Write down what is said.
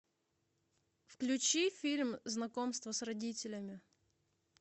включи фильм знакомство с родителями